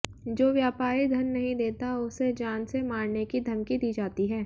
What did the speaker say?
जो व्यापारी धन नहीं देता उसे जान से मारने की धमकी दी जाती है